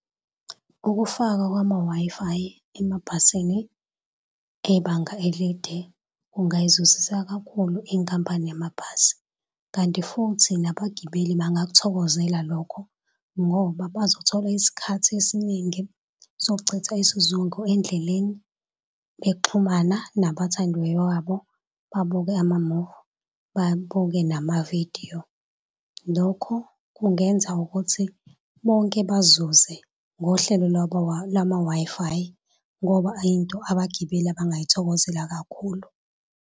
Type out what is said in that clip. Ukufakwa kwama-Wi-Fi emabhasini ebanga elide, kungayizuzisa kakhulu inkampani yamabhasi, kanti futhi nabagibeli bangakuthokozela lokho ngoba bazothola isikhathi esiningi sokuchitha isizungu endleleni bexhumana nabathandiweyo wabo, babuke amamuvi, babuke namavidiyo. Lokho kungenza ukuthi bonke bazuze ngohlelo lama-Wi-Fi ngoba ayinto abagibeli abangayithokozela kakhulu.